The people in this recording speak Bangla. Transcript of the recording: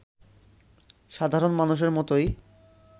সাধারণ মানুষের মতোই